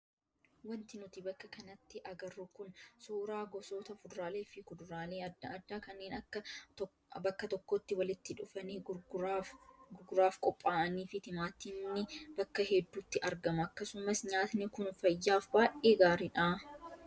Wanti nuti bakka kanatti agarru kun suuraa gosoota fuduraalee fi kuduraalee adda addaa kanneen bakka tokkotti walitti dhufanii gurguraaf qophaa'anii fi timaatimni bakka hedduutti argama. Akkasumas nyaatni kun fayyaaf baay'ee gaariidha.